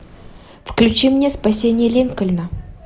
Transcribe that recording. включи мне спасение линкольна